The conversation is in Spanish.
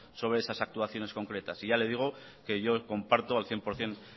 sobre esas actuaciones concretas y ya le digo que yo comparto al cien por ciento